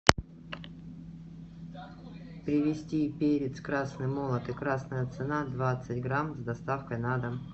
привезти перец красный молотый красная цена двадцать грамм с доставкой на дом